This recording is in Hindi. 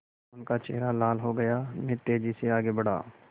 उनका चेहरा लाल हो गया मैं तेज़ी से आगे बढ़ा